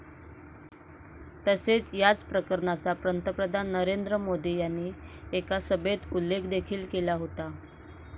तसेच याच प्रकरणाचा पंतप्रधान नरेंद्र मोदी यांनी एका सभेत उल्लेख देखील केला होता.